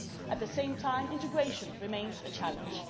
At the same time, integration remains a challenge.